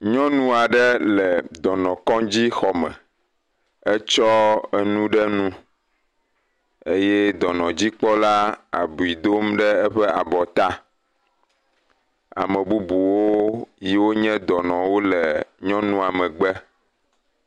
Nyɔnu aɖe le dɔnɔkɔdzi xɔme etsɔ nu ɖe nu eye dɔnɔdzikpɔla le abui dom ɖe eƒe abɔta. Ame bubu siwo nye dɔnuwo le nyɔnua megbe.